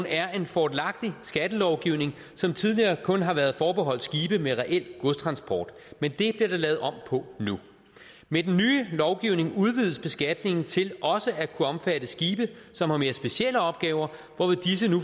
er en fordelagtig skattelovgivning som tidligere kun har været forbeholdt skibe med reel godstransport men det bliver der lavet om på nu med den nye lovgivning udvides beskatningen til også at kunne omfatte skibe som har mere specielle opgaver